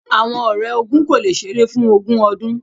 Awọn ọrẹ ogún ko le ṣeré fún ogun ọdun.